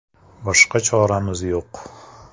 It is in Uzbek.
Boshqa choramiz yo‘q”.